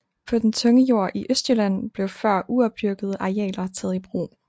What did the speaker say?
På den tunge jord i Østjylland blev før uopdyrkede arealer taget i brug